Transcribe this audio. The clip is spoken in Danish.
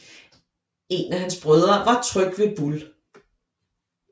En af hans brødre var Trygve Bull